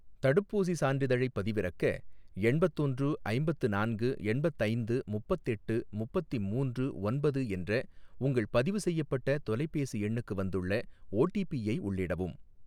தடுப்பூசி சான்றிதழைப் பதிவிறக்க, எண்பத்தொன்று ஐம்பத்து நான்கு எண்பத்தைந்து முப்பத்தெட்டு முப்பத்தி மூன்று ஒன்பது என்ற உங்கள் பதிவு செய்யப்பட்ட தொலைபேசி எண்ணுக்கு வந்துள்ள ஓடிபிஐ உள்ளிடவும்.